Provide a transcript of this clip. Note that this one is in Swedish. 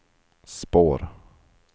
spår